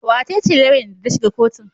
Wa ce ce lauyan da ta shiga kotun?